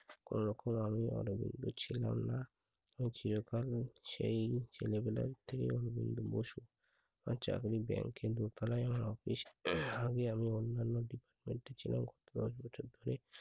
কোনরকম আমি অনেক ছিলাম না। আমি চিরকাল সেই ছেলেগুলোর আমার চাকরি bank এ দু তলায় আমার office আমি এমন অন্যান্য উঠেছিলাম দশ বছর ধরে